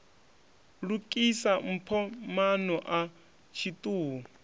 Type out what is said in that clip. lukisa mpho maano a tshiṱuhu